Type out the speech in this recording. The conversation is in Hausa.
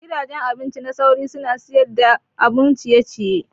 Gidajen abinci na sauri suna siyar da abun ciye ciye.